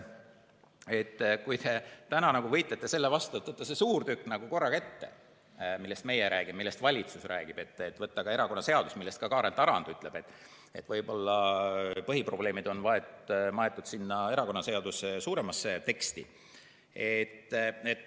Te täna võitlete selle vastu, et võtta korraga ette see suur tükk, millest meie räägime, millest valitsus räägib, et võtta ette ka erakonnaseadus, mille kohta ka Kaarel Tarand ütleb, et võib-olla põhiprobleemid on maetud sinna erakonnaseaduse suuremasse teksti.